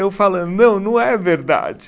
Eu falando, não, não é verdade.